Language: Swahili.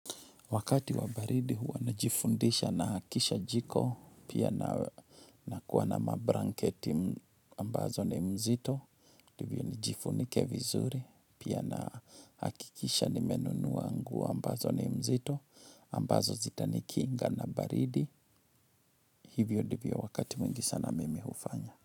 Wakati wa baridi huwa najifundisha naakisha jiko, pia na nakuwa na mablanketi ambazo ni mzito, ndivyo nijifunike vizuri, pia na hakikisha nimenunua nguo ambazo ni mzito, ambazo zitanikinga na baridi, hivyo ndivyo wakati mwingi sana mimi hufanya.